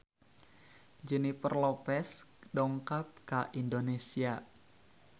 Jennifer Lopez dongkap ka Indonesia